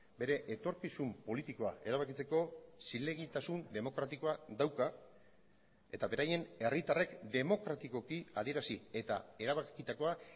bere etorkizun politikoa erabakitzeko zilegitasun demokratikoa dauka eta beraien herritarrek demokratikoki adierazi eta erabakitakoa